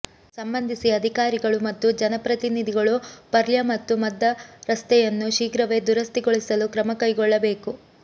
ಸಂಬಂಧಿಸಿ ಅಧಿಕಾರಿಗಳು ಮತ್ತು ಜನಪ್ರತಿನಿಧಿಗಳು ಪರ್ಲ್ಯ ಮತ್ತು ಮದ್ದ ರಸ್ತೆಯನ್ನು ಶೀಘ್ರವೇ ದುರಸ್ತಿಗೊಳಿಸಲು ಕ್ರಮ ಕೈಗೊಳ್ಳಬೇಕು